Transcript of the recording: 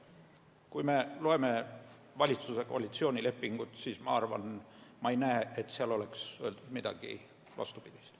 Kui me loeme valitsuse koalitsioonilepingut, siis me ei näe, et seal oleks öeldud midagi vastupidist.